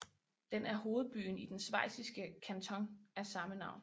Den er hovedbyen i den schweiziske kanton af samme navn